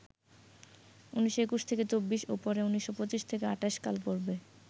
১৯২১-২৪ ও পরে ১৯২৫-২৮ কালপর্বে